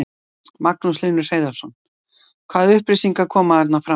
Magnús Hlynur Hreiðarsson: Hvaða upplýsingar koma þarna fram?